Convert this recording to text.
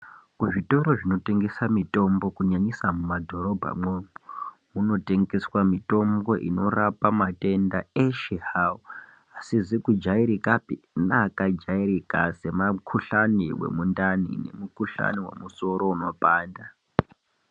Kuzvitoro zvinotengese mitombo kunyanyisa mumadhobhamwo kunotengeswa mitombo inorapa matenda eshe hao asizi kujairikapi neakajairika semakuhlani wemundani nemukuhlani wemusoro unopanda.